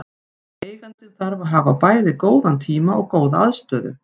Eigandinn þarf að hafa bæði góðan tíma og góða aðstöðu.